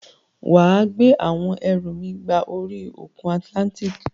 Wà á gbé àwọn ẹrù mi gba orí òkun Atlantic.